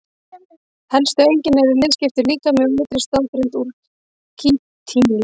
Helstu einkenni eru liðskiptur líkami og ytri stoðgrind úr kítíni.